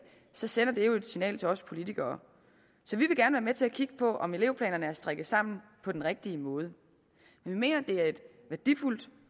så sender det jo et signal til os politikere så vi vil gerne være med til at kigge på om elevplanerne er strikket sammen på den rigtige måde men vi mener at de er et værdifuldt